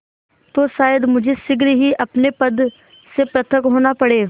तो शायद मुझे शीघ्र ही अपने पद से पृथक होना पड़े